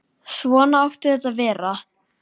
Svona átti þetta að vera.